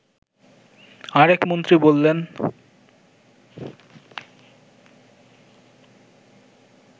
আরেক মন্ত্রী বললেন